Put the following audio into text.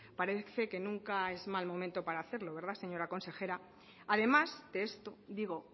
parece que nunca es mal momento para hacerlo verdad señora consejera además de esto digo